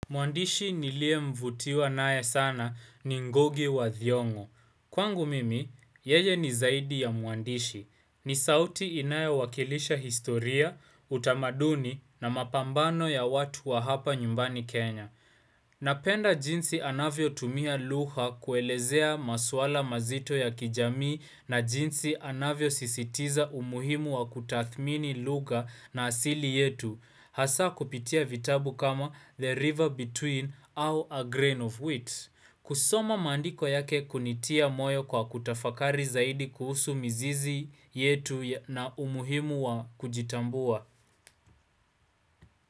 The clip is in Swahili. Mwandishi niliye mvutiwa naye sana ni ngugi wa thiongo. Kwangu mimi, yeye ni zaidi ya mwandishi. Ni sauti inayo wakilisha historia, utamaduni na mapambano ya watu wa hapa nyumbani Kenya. Napenda jinsi anavyotumia lugha kuelezea maswala mazito ya kijamii na jinsi anavyosisitiza umuhimu wa kutathmini lugha na asili yetu. Hasa kupitia vitabu kama the river between au a grain of wheat kusoma maandiko yake kunitia moyo kwa kutafakari zaidi kuhusu mizizi yetu na umuhimu wa kujitambua.